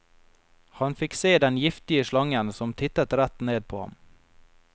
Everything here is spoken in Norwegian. Han fikk se den giftige slangen som tittet rett ned på ham.